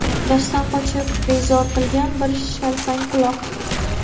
Darsdan qochib bezor qilgan bir shalpangquloq.